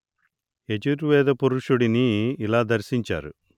యజుర్వేద పురుషుడిని ఇలా దర్శించారు